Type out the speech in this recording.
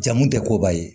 Jamu tɛ koba ye